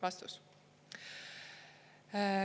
" Vastus.